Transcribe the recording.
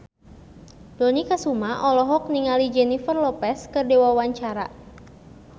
Dony Kesuma olohok ningali Jennifer Lopez keur diwawancara